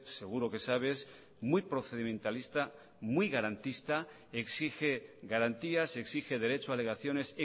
seguro que sabe es muy procedimentalista muy garantista exige garantías exige derecho a alegaciones